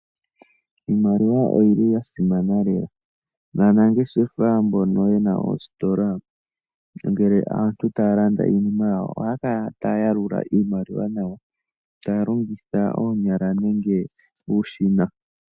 Iimaliwa oya simana lela, naanangeshefa mbono ye na oositola ngele aantu taya landa iinima yawo ohaya kala taya yalula iimaliwa yawo taya longitha oonyala nenge uushina.